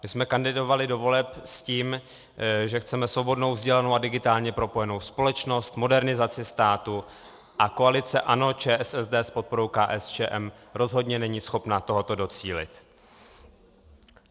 My jsme kandidovali do voleb s tím, že chceme svobodnou, vzdělanou a digitálně propojenou společnost, modernizaci státu, a koalice ANO, ČSSD s podporou KSČM rozhodně není schopna tohoto docílit.